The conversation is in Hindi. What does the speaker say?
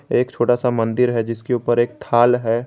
एक छोटा सा मंदिर है जिसके ऊपर एक थाल है।